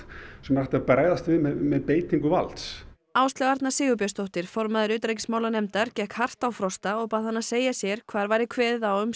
sem er hægt að bregðast við með beitingu valds Áslaug Arna Sigurbjörnsdóttir formaður utanríkismálanefndar gekk hart á Frosta og bað hann að segja sér hvar væri kveðið á um